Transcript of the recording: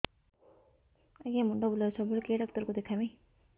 ଆଜ୍ଞା ମୁଣ୍ଡ ବୁଲାଉଛି ସବୁବେଳେ କେ ଡାକ୍ତର କୁ ଦେଖାମି